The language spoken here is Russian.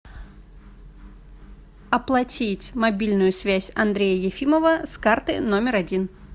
оплатить мобильную связь андрея ефимова с карты номер один